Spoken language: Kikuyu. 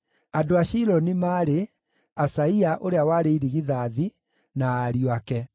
Andũ a Shiloni maarĩ: Asaia ũrĩa warĩ irigithathi, na ariũ ake.